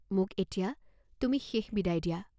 মোক এতিয়া তুমি শেষ বিদায় দিয়া।